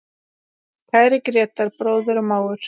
Kæri Grétar, bróðir og mágur.